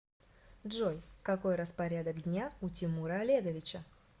джой какой распорядок дня у тимура олеговича